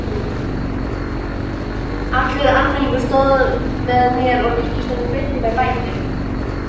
Allur almenningur stóð með mér og ríkisstjórnin greiddi mér bætur.